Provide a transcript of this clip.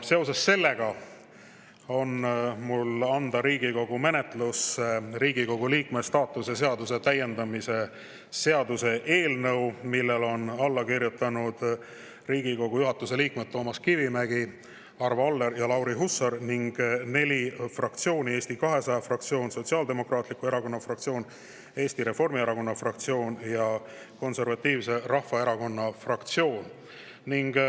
Seoses sellega on mul anda Riigikogu menetlusse Riigikogu liikme staatuse seaduse täiendamise seaduse eelnõu, millele on alla kirjutanud Riigikogu juhatuse liikmed Toomas Kivimägi, Arvo Aller ja Lauri Hussar ning neli fraktsiooni: Eesti 200 fraktsioon, Sotsiaaldemokraatliku Erakonna fraktsioon, Eesti Reformierakonna fraktsioon ja Konservatiivse Rahvaerakonna fraktsioon.